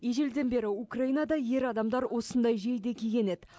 ежелден бері украинада ер адамдар осындай жейде киген еді